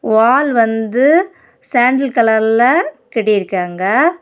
வால் வந்து சாண்டல் கலர்ல கட்டிருக்காங்க.